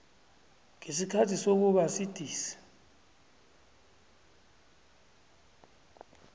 ngesikhathi sokuba sidisi